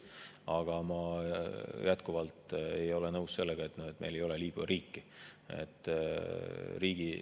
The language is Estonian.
Aga ma jätkuvalt ei ole nõus sellega, et Liibüa riiki ei ole.